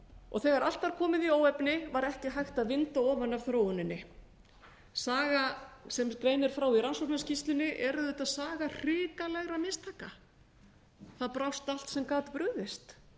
og þegar allt var komið í óefni var ekki hægt að vinda ofan af þróuninni sagan sem greinir frá í rannsóknarskýrslunni er auðvitað saga hrikalegra mistaka það brást allt sem gat brugðist